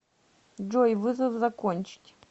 джой вызов закончить